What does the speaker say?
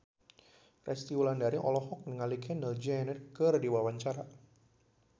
Resty Wulandari olohok ningali Kendall Jenner keur diwawancara